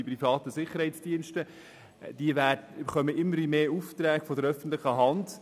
Diese Sicherheitsdienste bekommen immer mehr Aufträge von der öffentlichen Hand;